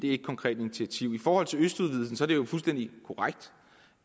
et konkret initiativ i forhold til østudvidelsen er det jo fuldstændig korrekt